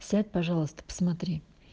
сядь пожалуйста посмотри